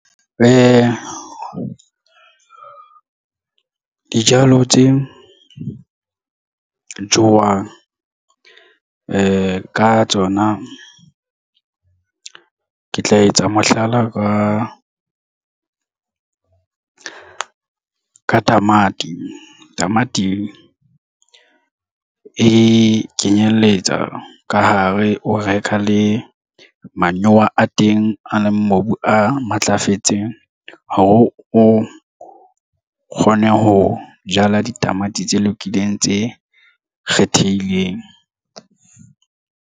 Dijalo tse jowang ka tsona ke tla etsa mohlala ka tamati. Tamati e kenyelletsa ka hare o reka le manyowa a teng a le mobu a matlafetseng hore o kgone ho jala ditamati tse lokileng tse kgethehileng.